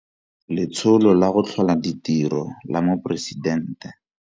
Letsholo la go Tlhola Ditiro la Moporesidente.